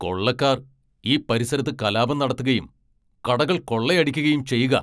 കൊള്ളക്കാർ ഈ പരിസരത്ത് കലാപം നടത്തുകയും കടകൾ കൊള്ളയടിക്കുകയും ചെയ്യുകാ.